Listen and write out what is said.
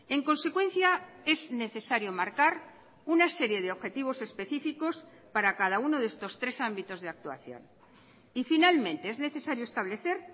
en consecuencia es necesario marcar una serie de objetivos específicos para cada uno de estos tres ámbitos de actuación y finalmente es necesario establecer